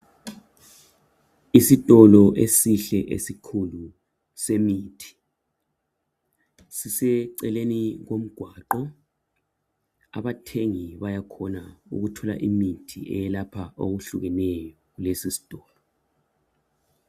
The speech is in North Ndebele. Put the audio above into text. Isitolo esihle esikhulu semithi siseceleni komgwaqo. Abathengi bayakhona ukuthenga imithi ehlukeneyo kulesi isitolo.